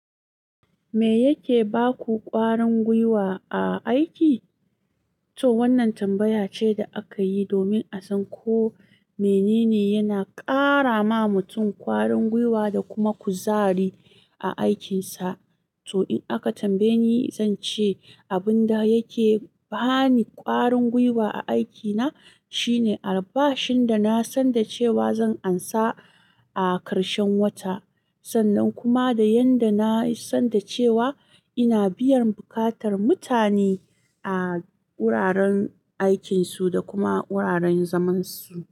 "Me yake ba ku ƙwarin gwiwa a aiki?" To, wannan tambaya ce da aka yi domin a san ko mene ne yana ƙara ma mutum ƙwarin gwiwa da kuma kuzari a aikinsa. To, in aka tambaye ni, zan ce abin da yake bani ƙwarin gwiwa a aikina shine albashin da na san da cewa zan amsa a karshen wata. Sannan kuma da yadda na san da cewa ina biyan buƙatar mutane a wuraren aikinsu da kuma wuraren zamansu.